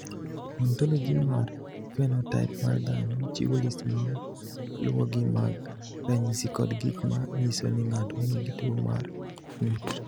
"Ontology mar phenotaip mar dhano chiwo list ma luwogi mag ranyisi kod gik ma nyiso ni ng’ato nigi tuwo mar ng’ut."